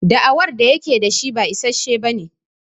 Da'awar da yake da shi ba issashe bane.